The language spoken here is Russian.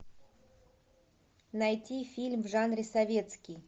найти фильм в жанре советский